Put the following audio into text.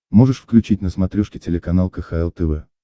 можешь включить на смотрешке телеканал кхл тв